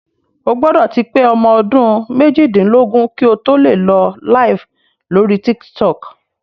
O gbọ́dọ̀ ti pé ọmọ ọdún méjìdínlógún kí o tó lè lọ LIVE lórí Tiktok